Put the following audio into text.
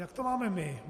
Jak to máme my?